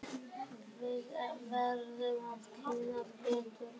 Við verðum að kynnast betur.